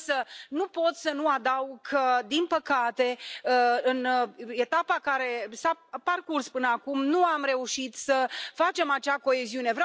Însă nu pot să nu adaug că, din păcate, în etapa care s a parcurs până acum, nu am reușit să facem acea coeziune.